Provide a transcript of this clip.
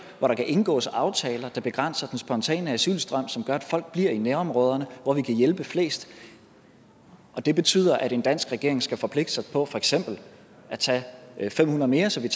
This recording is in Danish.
hvor der kan indgås aftaler der begrænser den spontane asylstrøm og som gør at folk bliver i nærområderne hvor vi kan hjælpe flest og det betyder at en dansk regering skal forpligte sig på for eksempel at tage fem hundrede mere så vi